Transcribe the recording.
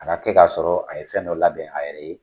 A ka kɛ ka sɔrɔ a ye fɛn dɔ labɛn a yɛrɛ ye.